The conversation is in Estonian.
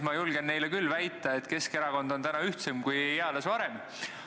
Ma julgen neile küll väita, et Keskerakond on täna ühtsem kui eales varem.